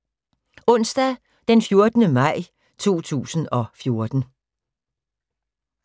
Onsdag d. 14. maj 2014